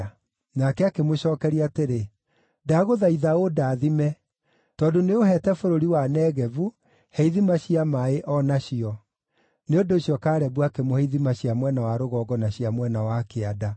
Nake akĩmũcookeria atĩrĩ, “Ndagũthaitha ũndathime. Tondũ nĩũũheete bũrũri wa Negevu, he ithima cia maaĩ o nacio.” Nĩ ũndũ ũcio Kalebu akĩmũhe ithima cia mwena wa rũgongo na cia mwena wa kĩanda.